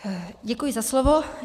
Děkuji za slovo.